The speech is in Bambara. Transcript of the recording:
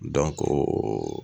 Dɔnko